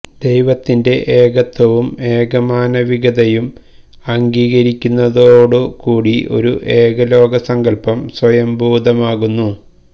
ദൈവത്തിന്റെ ഏകത്വവും ഏകമാനവികതയും അംഗീകരിക്കുന്നതോടു കൂടി ഒരു ഏകലോക സങ്കല്പം സ്വയംഭൂതമാകുന്നു